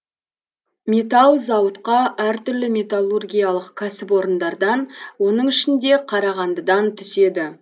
металл зауытқа әр түрлі металлургиялық кәсіпорындардан оның ішінде қарағандыдан түседі